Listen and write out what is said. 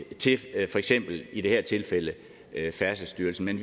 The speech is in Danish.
til for eksempel i det her tilfælde færdselsstyrelsen men